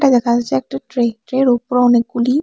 দেখা যাচ্ছে একটা ট্রে ট্রের ওপর অনেকগুলি--